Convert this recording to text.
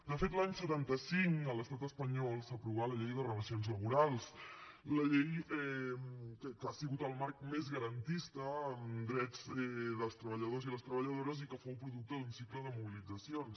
de fet l’any setanta cinc a l’estat espanyol s’aprovà la llei de relacions laborals que ha sigut el marc més garantista en drets dels treballadors i les treballadores i que fou producte d’un cicle de mobilitzacions